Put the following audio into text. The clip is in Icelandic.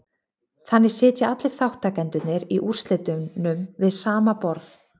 Þannig sitja allir þátttakendurnir í úrslitunum við sama borð.